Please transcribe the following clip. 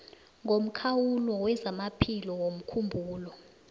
ngomkhawulo wezamaphilo womkhumbulo